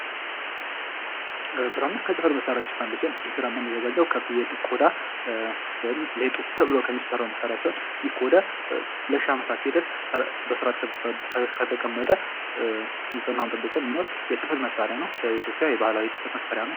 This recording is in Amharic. ብራና ከፅህፈት መሳሪያዎች ውስጥ አንዱ ሲሆን ይህ ብራና የሚዘጋጀው ከፍየል ቆዳ ወይንም ሌጦ ተብሎ ከሚሰራው መሳሪያ ሲሆን ይህ ቆዳ ለሽህ አመታት ድረስ በስርዓት ከተቀመጠ ንፅህናውን ጠብቆ የሚኖር የፅህፈት መሳሪያ ነው። በኢትዮጵያ የባህላዊ የፅህፈት መሳሪያ ነው።